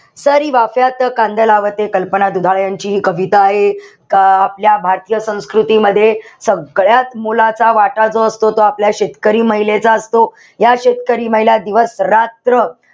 सरी वाफ्यात कांदा लावते, कल्पना दुधाळे यांची हि कविता आहे का आपल्या भारतीय संस्कृतीमध्ये सगळ्यात मोलाचा वाटा जो असतो तो आपल्या शेतकरी महिलेचा असतो. ह्या शेतकरी महिला दिवसरात्र,